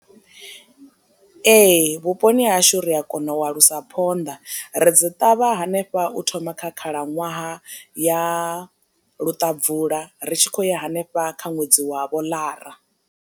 Ee vhuponi ha hashu ri a kona u a lusa phonḓa, ri dzi ṱavha hanefha u thoma kha khalaṅwaha ya luṱabvula ri tshi khou ya hanefha kha ṅwedzi wa vho ḽara.